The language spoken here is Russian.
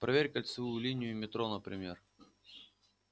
проверь кольцевую линию метро например